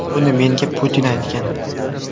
Buni menga Putin aytgan.